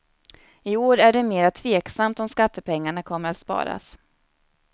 I år är det mera tveksamt om skattepengarna kommer att sparas.